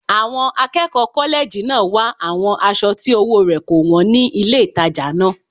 Àwọn akẹ́kọ̀ọ́ kọ́lẹ́ẹ̀jì náà wá àwọn aṣọ tí ọwọ́ rẹ̀ kò wọ́n ní ilé ìtajà náà